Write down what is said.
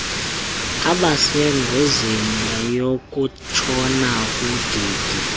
abasengozini yokutshona kudidi